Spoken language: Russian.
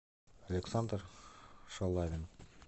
александр шалавин